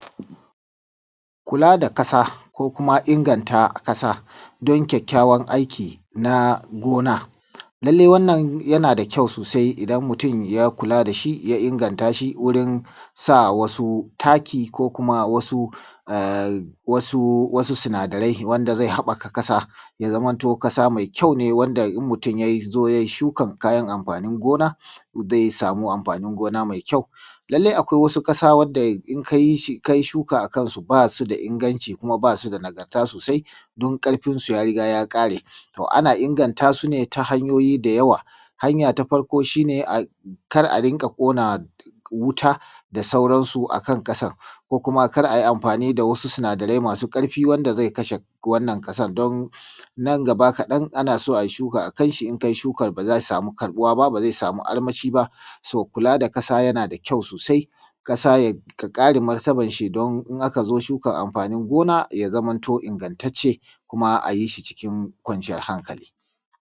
Kula da ƙasa ko kuma inganta ƙasa don ƙyaƙƙyawar aiki na inganta gona, lallai wannan yana da ƙyau sosai in mutum ya kula da shi ya inganta shi ya sa wasu taki ku koma wasu sunadarai wanda zai haɓaka ƙasa ya zamanto ƙasa mai ƙyau ne wanda mutun ya zo yai shuka kayan anfanin gona zai sama anfanin gona mai ƙyau. Lallai akwai wasu ƙasa wanda in kai shuka a kansu ba su da inganci kuma ba su da nagarta sosai duk ƙarfinsu ya riga ya ƙare to ana inganta su ne ta hanyoyi da yawa. Hanya ta farko shi ne, kar a riƙa kona wuta da sauransu a kan ƙasar, kuma kar a rika yin anfani da wasu sunadarai masu ƙarfi wanda zai kashe ƙasar nan gaba kadan in ana so a yi shuka in an yi shuka ba zai samu armashi ba. So kula da ƙasa yana da ƙyau sosai ƙasa ya kare martaban shi in aka zo shuka ya zamanto ingantacce kuma a yi shi cikin kwanciyar hankali.